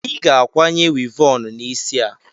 Ị ga-akwanye wivọọnụ n'isi a!